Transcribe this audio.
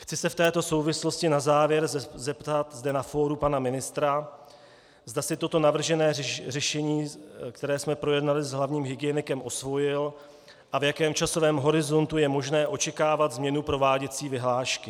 Chci se v této souvislosti na závěr zeptat zde na fóru, pana ministra, zda si toto navržené řešení, které jsme projednali s hlavním hygienikem, osvojil a v jakém časovém horizontu je možné očekávat změnu prováděcí vyhlášky.